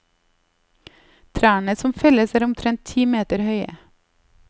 Trærne som felles er omtrent ti meter høye.